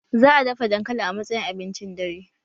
Za'a dafa dankali a matsayin abincin dare